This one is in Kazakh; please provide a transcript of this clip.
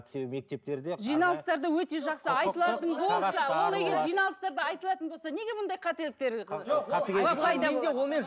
себебі мектептерде ол егер жиналыстарда айтылатын болса неге мұндай қателіктер